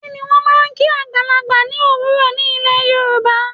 Kí ni wọ́n máa ń kí àgbàlagbà ní òwúrò ní ilè Yorùbá?